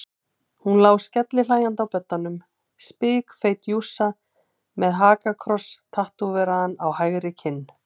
Hún lá skellihlæjandi á beddanum, spikfeit jússa með hakakross tattóveraðan á hægri kinn.